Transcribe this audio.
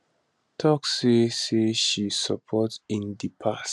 tok say say she support in di past